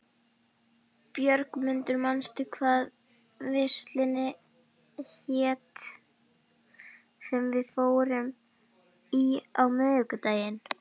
Björgmundur, manstu hvað verslunin hét sem við fórum í á miðvikudaginn?